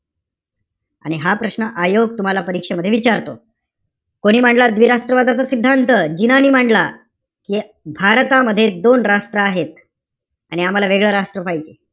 आणि हा प्रश्न आयोग तुम्हाला परीक्षेमध्ये विचारतो. कोणी मांडला द्विराष्ट्र वादाचा सिद्धांत? जिनांनी मांडला. हे भारतामध्ये दोन राष्ट्र आहेत आणि आम्हाला वेगळं राष्ट्र पाहिजे.